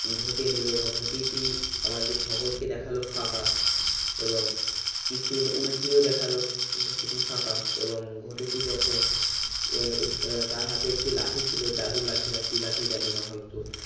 ঘটি নিলো ঘটিটি আমাদের সকলকে দেখালো ফাঁকা এবং কিছু উল্টিয়ে দেখালো ঘটটি ফাঁকা এবং ঘটিটি যখন হম এক তার হাতে একটি লাঠি ছিল জাদুর লাঠি না কি লাঠি জানিনা হয়তো